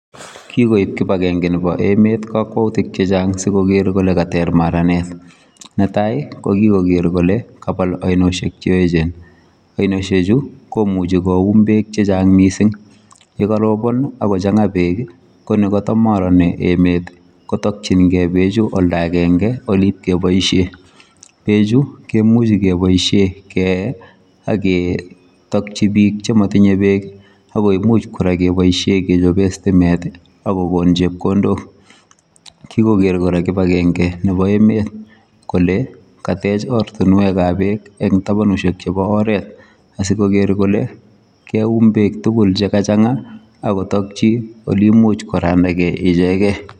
Kikoip kipange kakwautik ap emet kole. magat kepal. sigenyor Pek peechu komuchi kepaishee Eng kokwautik chechang imuchi kochop. stimet ,koumii pechutok sigepaishe Eng oratunweek terter